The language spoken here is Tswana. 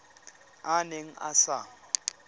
a a neng a sa